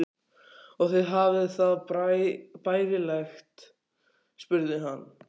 Og þið hafið það bærilegt? spurði hann.